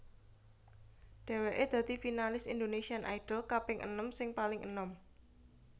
Dhèwèké dadi finalis Indonesian Idol kaping enem sing paling enom